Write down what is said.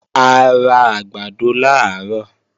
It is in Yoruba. A ra àgbàdo làárọ̀